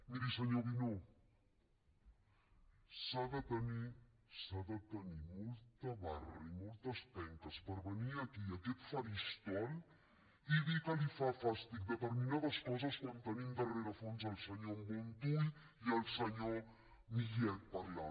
miri senyor guinó s’ha de tenir s’ha de tenir molta barra i moltes penques per venir aquí a aquest faristol i dir que li fan fàstic determinades coses quan tenim de rerefons el senyor montull i el senyor millet parlant